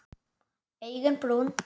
Augun brún.